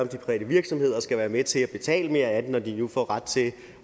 de private virksomheder skal være med til at betale mere af den når de nu får ret til